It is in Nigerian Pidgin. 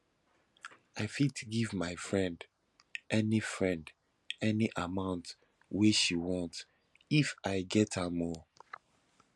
i fit give my friend any friend any amount wey she want if i get am o